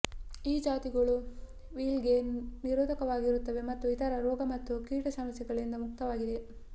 ಈ ಜಾತಿಗಳು ವಿಲ್ಟ್ಗೆ ನಿರೋಧಕವಾಗಿರುತ್ತವೆ ಮತ್ತು ಇತರ ರೋಗ ಮತ್ತು ಕೀಟ ಸಮಸ್ಯೆಗಳಿಂದ ಮುಕ್ತವಾಗಿದೆ